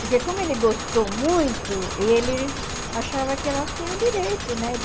Porque como ele gostou muito, ele achava que elas tinham direito, né? De